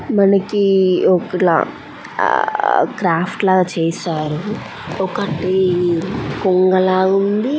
మనకి ఒకలా క్రాఫ్ట్ లాగ చేశారు. ఒకటి కొంగలాగా ఉంది --